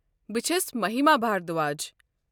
بہِ چھس مٔہِما بھردھواج۔